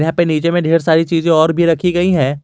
यहां पर नीचे में ढेर सारी चीज और भी रखी गई है।